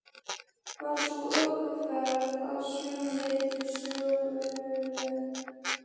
Var sú ökuferð að sumu leyti söguleg.